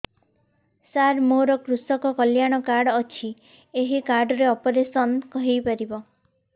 ସାର ମୋର କୃଷକ କଲ୍ୟାଣ କାର୍ଡ ଅଛି ଏହି କାର୍ଡ ରେ ଅପେରସନ ହେଇପାରିବ